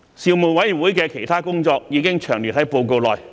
事務委員會的其他工作已詳列於報告內。